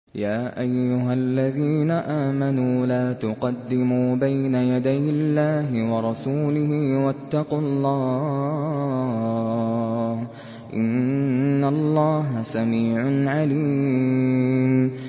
يَا أَيُّهَا الَّذِينَ آمَنُوا لَا تُقَدِّمُوا بَيْنَ يَدَيِ اللَّهِ وَرَسُولِهِ ۖ وَاتَّقُوا اللَّهَ ۚ إِنَّ اللَّهَ سَمِيعٌ عَلِيمٌ